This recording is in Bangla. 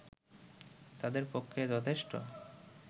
তাদের পক্ষে যথেষ্ট